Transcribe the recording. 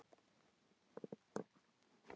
Þú veist það, sagði hún.